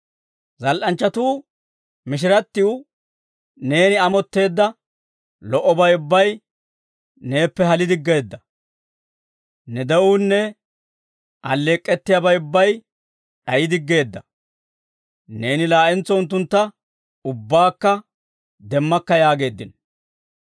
Zal"anchchatuu mishirattiw, «Neeni amotteedda, lo"obay ubbay neeppe hali diggeedda. Ne de'uunne, alleek'k'ettiyaabay ubbay d'ayidiggeedda. Neeni laa'entso unttuntta ubbaakka demmakka» yaageeddino.